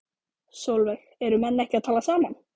Sólveig: Eru menn ekki að tala saman?